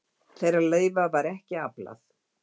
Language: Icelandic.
Þeirra leyfa var ekki aflað.